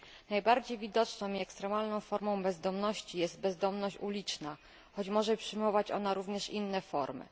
Najbardziej widoczną i ekstremalną formą bezdomności jest bezdomność uliczna, choć może przyjmować ona również inne formy.